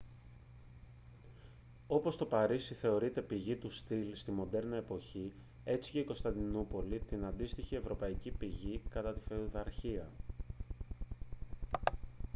όπως το παρίσι θεωρείται πηγή του στυλ στη μοντέρνα εποχή έτσι και η κωνσταντινούπολη την αντίστοιχη ευρωπαϊκή πηγή κατά τη φεουδαρχία